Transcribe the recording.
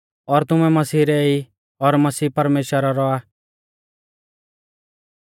और तुमैं मसीह रै ई और मसीह परमेश्‍वरा रौ आ